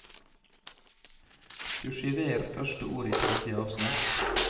Kursiver første ord i tredje avsnitt